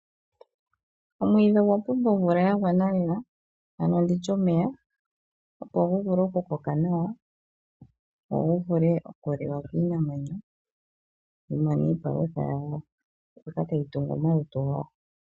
Omwiidhi ogwa pumbwa omvula ya gwana lela, ano nditye omeya, opo gu vule okukoka nawa, go gu vule okuliwa kiinamwenyo, yi mone iipalutha yawo mbyoka tayi tungu omalutu gawo.